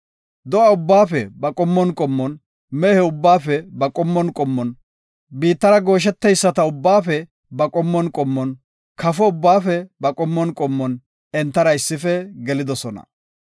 Do7a ubbaafe ba qommon qommon, mehe ubbaafe ba qommon qommon, biittara gooshetiya ubbaafe ba qommon qommon, kafo ubbaafe ba qommon qommon entara issife gelidosona.